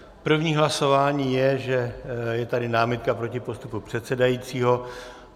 První hlasování je, že je tady námitka proti postupu předsedajícího.